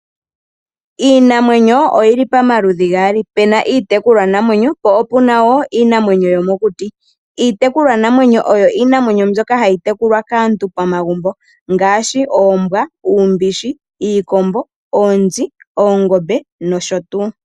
Iinamwenyo oyi li pamaludhi gaali. Pe na iitekulwanamwenyo po opu na wo iinamwenyo yomokuti. Iitekulwanamwenyo oyo iinamwenyo mbyoka hayi tekulwa kaantu pamagumbo, ngaashi oombwa, uumbishi, iikombo, oonzi, oongombe noshotuu.